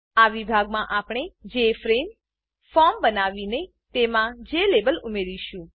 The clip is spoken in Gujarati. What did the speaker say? આ વિભાગમાં આપણે જેએફઆરએમઈ જેફ્રેમ ફોર્મ બનાવીને તેમાં જ્લાબેલ જેલેબલ ઉમેરીશું